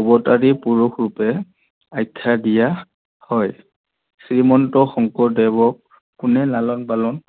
অবতাৰী পূৰুষ হিচাপে আখ্যা দিয়া হয়। শ্ৰীমন্ত শংকৰদেৱক কোনে লালন পালন